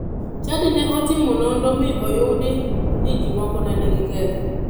Chadi ne otimo nonro mi oyudi ni ji moko ne nigi ketho.